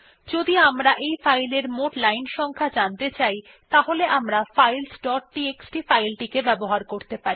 যদি আমরা এই ফাইলের মোট লাইন সংখ্যা জানতে চাই তাহলে আমরা ফাইলস ডট টিএক্সটি ফাইল টিকে ব্যবহার করতে পারি